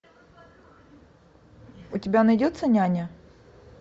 у тебя найдется няня